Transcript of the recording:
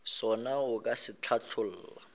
sona o ka se hlatholla